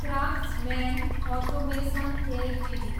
craftsman Automation Ltd